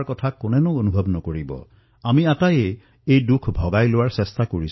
আমি সকলোৱে মিলি এই কষ্ট এই পীড়া হ্ৰাস কৰাৰ বাবে প্ৰয়াস কৰি আছো সমগ্ৰ দেশে প্ৰয়াস কৰি আছে